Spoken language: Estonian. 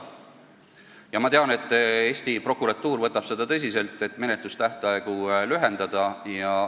Ja ma tean, et Eesti prokuratuur võtab seda tõsiselt ja püüab menetlusaegu lühendada.